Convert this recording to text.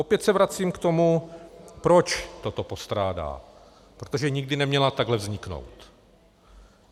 Opět se vracím k tomu, proč toto postrádá: protože nikdy neměla takhle vzniknout.